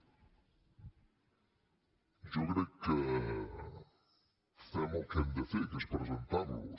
jo crec que fem el que hem de fer que és presentarlos